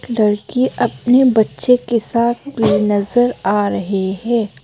लड़की अपने बच्चे के साथ भी नजर आ रहे हैं।